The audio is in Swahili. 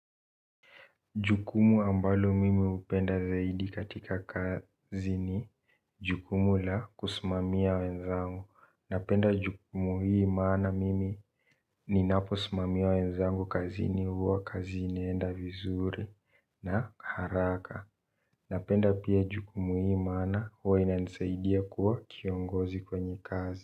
Jukumu ambalo mimi hupenda zaidi katika kazi ni jukumu la kusimamia wenzangu. Napenda jukumu hii maana mimi ninapo simamia wenzangu kazini huwa kazi inaenda vizuri na haraka. Napenda pia jukumu hii maana huwa inansaidia kuwa kiongozi kwenye kazi.